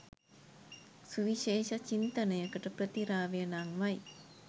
සුවිශේෂ චින්තනයක ප්‍රතිරාවය නංවයි.